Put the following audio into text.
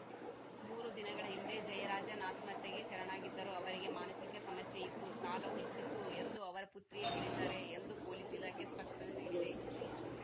ಮೂರು ದಿನಗಳ ಹಿಂದೆ ಜಯರಾಜನ್‌ ಆತ್ಮಹತ್ಯೆಗೆ ಶರಣಾಗಿದ್ದರು ಅವರಿಗೆ ಮಾನಸಿಕ ಸಮಸ್ಯೆ ಇತ್ತು ಸಾಲವೂ ಹೆಚ್ಚಿತ್ತು ಎಂದು ಅವರ ಪುತ್ರಿಯೇ ಹೇಳಿದ್ದಾರೆ ಎಂದು ಪೊಲೀಸ್‌ ಇಲಾಖೆ ಸ್ಪಷ್ಟನೆ ನೀಡಿದೆ